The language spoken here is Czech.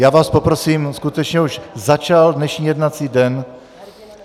Já vás poprosím, skutečně už začal dnešní jednací den.